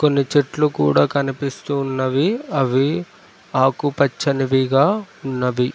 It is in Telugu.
కొన్ని చెట్లు కూడా కనిపిస్తూ ఉన్నవి అవి ఆకుపచ్చనివిగా ఉన్నవి.